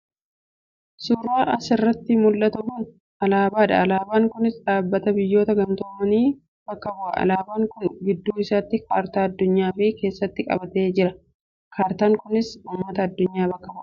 Suuraan as irratti mul'atu kun alaabaa dha. Alaabaan kunis dhaabbata biyyoota gamtoomanii bakka bu'a. Alaabaan kun gidduu isaatti kaartaa addunyaa of keessatti qabatee jira. Kaartaan kunis ummata addunyaa bakka bu'a.